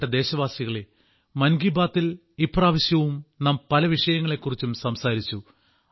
പ്രിയപ്പെട്ട ദേശവാസികളേ മൻ കി ബാത്തിൽ ഇപ്രാവശ്യവും നാം പല വിഷയങ്ങളെ കുറിച്ചും സംസാരിച്ചു